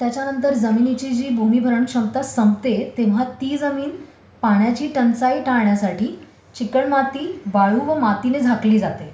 त्याच्यानंतर जमिनीची जी भूमिभरण क्षमता संपते तेंव्हा ती जमीन पाण्याची टंचाई टाळण्यासाठी चिकणमाती, वाळू व मातीने झाकली जाते.